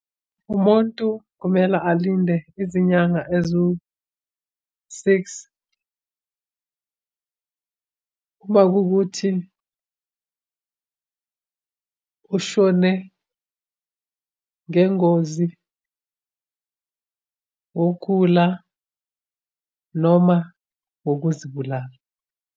Umuntu kumele alinde izinyanga eziwu-six. Uma kuwukuthi kushone ngengozi ngokugula, noma ngokuzibulala.